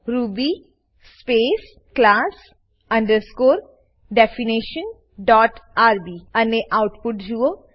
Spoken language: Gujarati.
Ruby space class underscore definition dot RB અને આઉટપુટ જુઓ